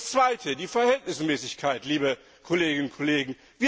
Und das Zweite, die Verhältnismäßigkeit, liebe Kolleginnen und Kollegen.